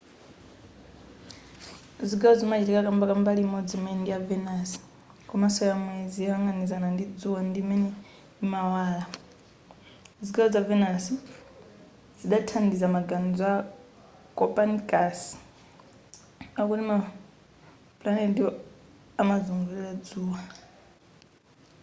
zigawo zimachitika kamba ka mbali imodzi imene ndiya venus komanso ya mwezi yoyang'anizana ndi dzuwa ndi imene imawala. zigawo za venus zidathandiza maganizo a copernicus akuti ma pulaneti amazungulira dzuwa